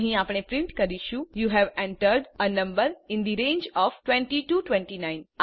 અહીં આપણે પ્રિન્ટ કરીશું you have entered a number in the range of 20 29